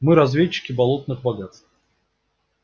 мы разведчики болотных богатств